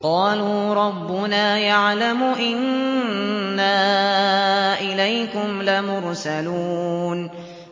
قَالُوا رَبُّنَا يَعْلَمُ إِنَّا إِلَيْكُمْ لَمُرْسَلُونَ